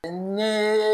Ni